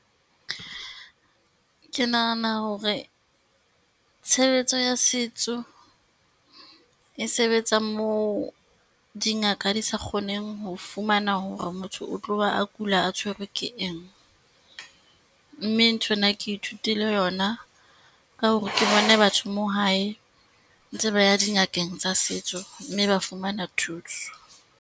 Ke nahana hore tshebetso ya setso, e sebetsang moo dingaka di sa kgoneng ho fumana hore motho o tloha a kula a tshwerwe ke eng, mme nthwena ke ithutile yona, ka hore ke bone batho mo hae, ntse ba ya dingakeng tsa setso mme ba fumana thuso.